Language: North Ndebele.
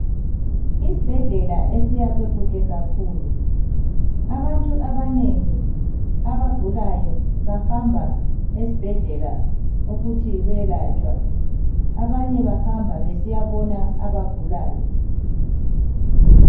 Isibhedlela esiyakhwe kuhle kakhulu abantu abanengi abagulayo bahamba esibhedlela besiyakwelatshwa abanye bahamba besiya bona abagulayo.